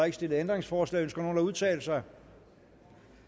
ikke stillet ændringsforslag ønsker nogen at udtale sig